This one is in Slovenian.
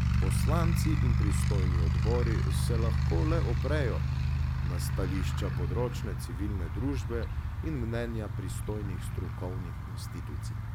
Poslanci in pristojni odbori se lahko le oprejo na stališča področne civilne družbe in mnenja pristojnih strokovnih institucij.